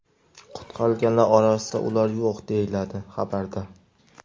Qutqarilganlar orasida ular yo‘q”, deyiladi xabarda.